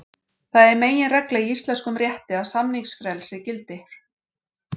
Það er meginregla í íslenskum rétti að samningafrelsi gildir.